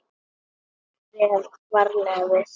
Maður réð varla við sig.